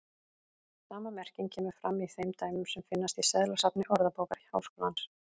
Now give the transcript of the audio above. Sama merking kemur fram í þeim dæmum sem finnast í seðlasafni Orðabókar Háskólans.